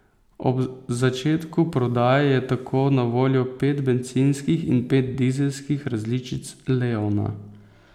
Ob začetku prodaje je tako na voljo pet bencinskih in pet dizelskih različic leona.